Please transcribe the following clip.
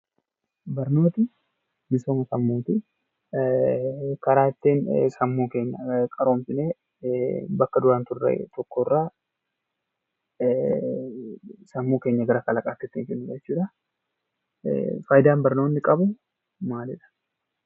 Barumsi misoomaa sammuuti. Barumsi karaa ittiin sammuu keenya ittiin qaroomsinee bakka duraan jirru irraa sammuu keenya gara kalaqaatti ittiin geessinu jechuudha.